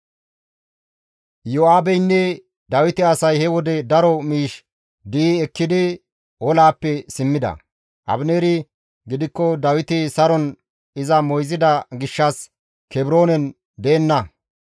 Iyo7aabeynne Dawite asay he wode daro miish di7i ekkidi olaappe simmida. Abineeri gidikko Dawiti saron iza moyzida gishshas Kebroonen deenna.